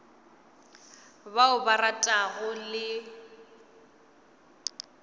ba o ba ratago le